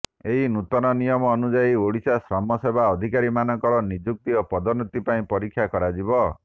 ଏହି ନୂତନ ନିୟମ ଅନୁଯାୟୀ ଓଡ଼ିଶା ଶ୍ରମ ସେବା ଅଧିକାରୀମାନଙ୍କର ନିଯୁକ୍ତି ଓ ପଦୋନ୍ନତି ପାଇଁ ପରୀକ୍ଷା କରାଯିବ